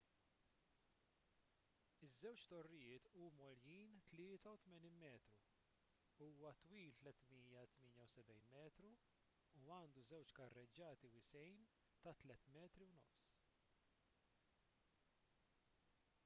iż-żewġ torrijiet huma għoljin 83 metru huwa twil 378 metru u għandu żewġ karreġġati wisgħin 3.50 m